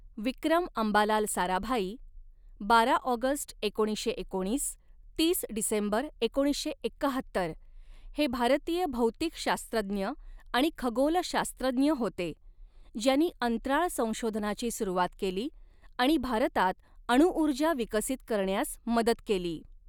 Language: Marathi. विक्रम अंबालाल साराभाई बारा ऑगस्ट एकोणीसशे एकोणीस तीस डिसेंबर एकोणीसशे एक्काहत्तर, हे भारतीय भौतिकशास्त्रज्ञ आणि खगोलशास्त्रज्ञ होते, ज्यांनी अंतराळ संशोधनाची सुरुवात केली आणि भारतात अणुऊर्जा विकसित करण्यास मदत केली.